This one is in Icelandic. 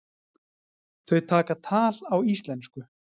Þau taka tal á íslensku.